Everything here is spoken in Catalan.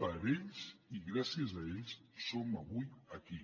per ells i gràcies a ells som avui aquí